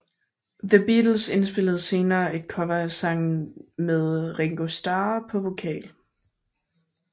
The Beatles indspillede senere et cover af sangen med Ringo Starr på vokal